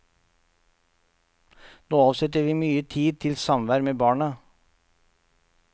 Nå avsetter vi mye tid til samvær med barna.